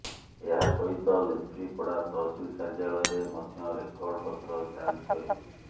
ଏହା ସହିତ ଲେଫ୍ରିପଡ଼ା ତହସିଲ କାର୍ଯ୍ୟାଳୟରେ ମଧ୍ୟ ରେକର୍ଡ ପତ୍ର ଯାଞ୍ଚ କରିବ